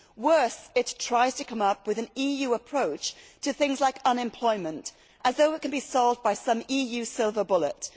Worse, it tries to come up with an EU approach to things like unemployment, as though it can be solved by some EU silver bullet.